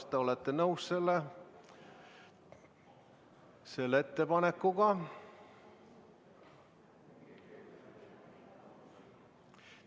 Kas te olete nõus selle ettepanekuga?